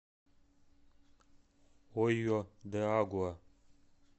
ойо де агуа